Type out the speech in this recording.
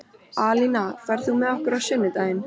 Alína, ferð þú með okkur á sunnudaginn?